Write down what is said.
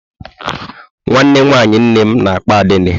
Nwanne nwaanyị nnem na-akpọ Adanne.